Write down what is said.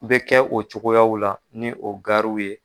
U bɛ kɛ o cogoyaw la ni o gariw ye.